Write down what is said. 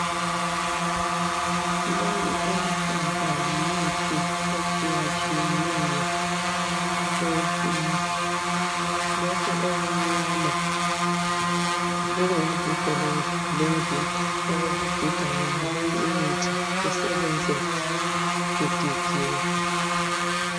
Leyi eluhlaza yimithi etshiyatshiyeneyo eyesintu. Lokhu okumnyama kuyingiga lomgigo okokugiga yonaleyi imithi isebenze igigiwe.